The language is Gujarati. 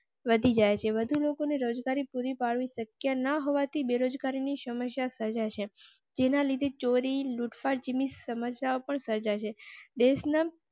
વધી જાય છે. વધુ લોકોને રોજગારી પૂરી પાડવી શક્ય ન હોવા થી બેરોજગારી ની સમસ્યા સર્જા શે જેના લીધે ચોરી, લૂટફાટ જેવી સમસ્યાઓ પણ સર્જાય છે.